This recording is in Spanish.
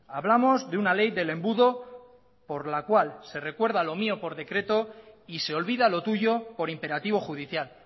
hablamos de una ley del embudo por la cual se recuerda lo mío por decreto y se olvida lo tuyo por imperativo judicial